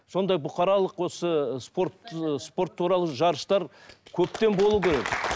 сондай бұқаралық осы спорт ыыы спорт туралы жарыстар көптен болу керек